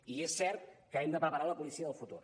i és cert que hem de preparar la policia del futur